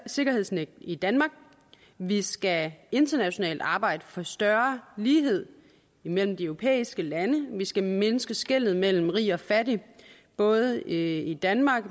sikkerhedsnet i danmark vi skal internationalt arbejde for større lighed imellem de europæiske lande og vi skal mindske skellet mellem rige og fattige både i danmark